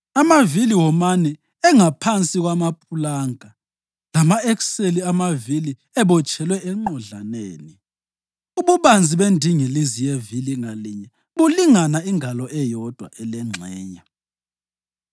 Amavili womane engaphansi kwamapulanka, lama-ekseli amavili ebotshelwe enqodlaneni. Ububanzi bendingilizi yevili ngalinye bulingana ingalo eyodwa elengxenye.